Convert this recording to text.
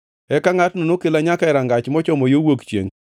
Eka ngʼatno nokela nyaka e rangach mochomo yo wuok chiengʼ,